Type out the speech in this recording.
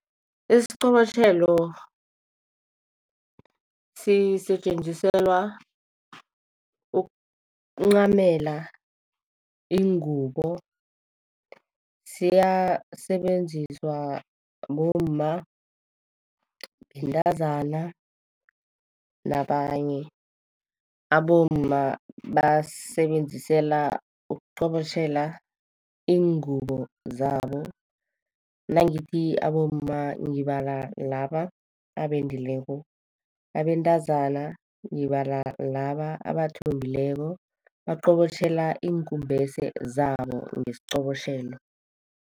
Isiqobotjhelo sisetjenziselwa ukuncamela ingubo. Siyasetjenziswa bomma, bentazana, nabanye. Abomma basisebenzisela ukuqobotjhela iingubo zabo. Nangithi abomma ngibala laba abendileko. Abentazana, ngibala laba abathombekileko, baqobotjhela iinkumbese zabo ngesiqobotjhelo.